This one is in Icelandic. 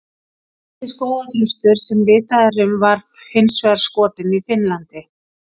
Elsti skógarþröstur sem vitað er um var hins vegar skotinn í Finnlandi.